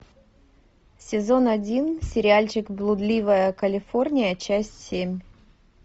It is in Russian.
сезон один сериальчик блудливая калифорния часть семь